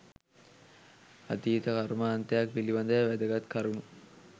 අතීත කර්මාන්තයක් පිළිබඳව වැදගත් කරුණු